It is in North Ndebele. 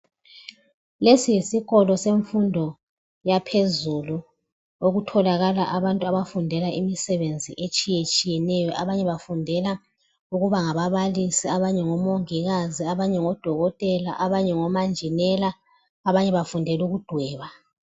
Lesi yisikolo semfundo yaphezulu okutholakala abantu abafundela imisebenzi etshiye tshiyeneyo. Abanye bafundela ukuba ngababalisi, abanye ngomongikazi abanye ngodokotela abanye ngomanjinela abanye bafundela ukudweba.